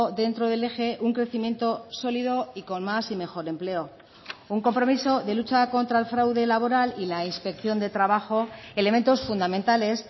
dentro del eje un crecimiento sólido y con más y mejor empleo un compromiso de lucha contra el fraude laboral y la inspección de trabajo elementos fundamentales